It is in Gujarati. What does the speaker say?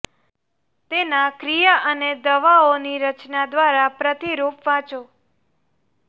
તેના ક્રિયા અને દવાઓ ની રચના દ્વારા પ્રતિરૂપ વાંચો